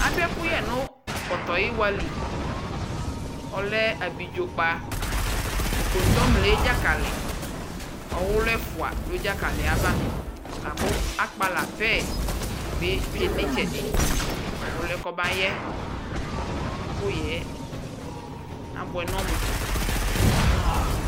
Adʋ ɛkʋyɛ nʋ pɔtɔyɩwa li Ɔlɛ abidzo kpa nʋ kɔŋtoble dzakalɩ Ɔwʋlʋ ɛfʋ dʋ dzakalɩ yɛ ava La kʋ akpala pɛ bɩ tsue nʋ ɩtsɛdɩ kʋ ɔlʋ yɛ kɔbayɛ Ɛkʋyɛ yɛ abʋɛ nʋ ɔmʋ ko